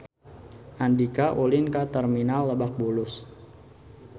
Andika ulin ka Terminal Lebak Bulus